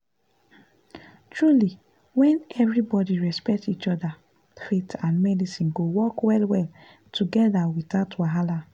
truly when everybody respect each other faith and medicine go work well-well together without wahala.